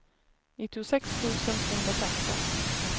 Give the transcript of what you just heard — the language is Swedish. nittiosex tusen tvåhundrafemton